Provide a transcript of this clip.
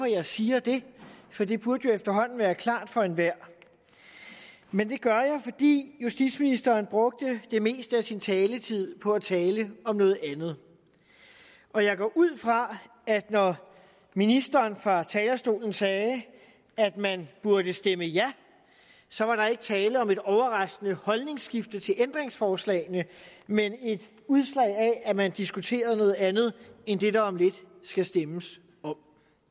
jeg siger det for det burde jo efterhånden være klart for enhver men det gør jeg fordi justitsministeren brugte det meste af sin taletid på at tale om noget andet og jeg går ud fra at når ministeren fra talerstolen sagde at man burde stemme ja så var der ikke tale om et overraskende holdningsskifte til ændringsforslagene men et udslag af at man diskuterede noget andet end det der om lidt skal stemmes om